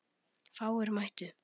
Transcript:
Fáir mættu.